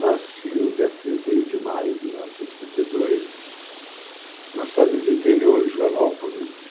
Nasci no dia trinta e um de maio de mil novecentos e cinquenta e dois, numa cidade do interior, Joanópolis.